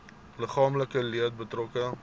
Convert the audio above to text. liggaamlike leed betrokke